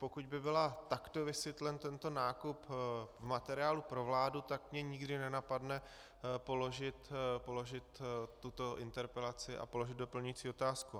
Pokud by byl takto vysvětlen tento nákup v materiálu pro vládu, tak mě nikdy nenapadne položit tuto interpelaci a položit doplňující otázku.